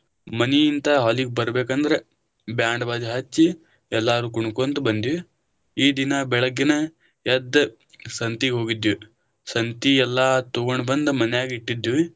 ಮನಿಯಿಂದ hall ಗ್ ಬರ್ಬೇಕ ಅಂದ್ರ बैंड बाजा ಹಚ್ಚಿ, ಎಲ್ಲರು ಕುಣಕೊಂತ ಬಂದಿವಿ, ಈ ದಿನಾ ಬೆಳಗ್ಗೆನಾ ಎದ್ದ ಸಂತೀಗ ಹೋಗಿದ್ವಿ ಸಂತಿ ಎಲ್ಲಾ ತೊಗೊಂಡ ಬಂದ ಮನ್ಯಾಗ ಇಟ್ಟಿದ್ವಿ.